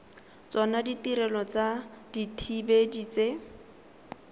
tsona ditirelo tsa dithibedi tse